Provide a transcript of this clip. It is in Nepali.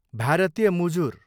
भारतीय मुजुर